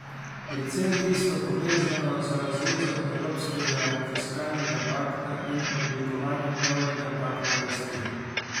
Predvsem tisto, povezano z razvezo evropskega fiskalnega pakta in oblikovanjem novega pakta rasti.